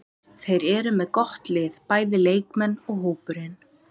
Þeir eru með gott lið, bæði leikmenn og hópurinn.